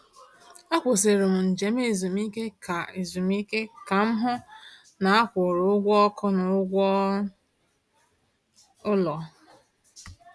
Akwụsịrị m njem ezumike ka ezumike ka m hụ na a kwụrụ ụgwọ ọkụ na ụgwọ ụlọ.